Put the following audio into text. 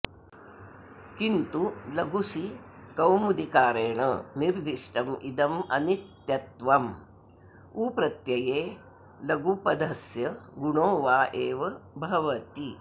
किन्तु लघुसिकौमुदीकारेण निर्दिष्टम् इदम् अनित्यत्वम् उप्रत्यये लगूपधस्य गुणो वा एव भवति